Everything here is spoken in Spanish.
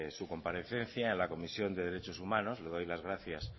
su comparecencia en la comisión de derechos humanos le doy las gracias